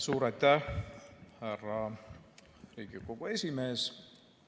Suur aitäh, härra Riigikogu esimees!